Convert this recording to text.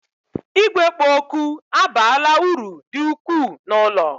Igwe kpo oku abaala uru dị ukwuu n'ụlọ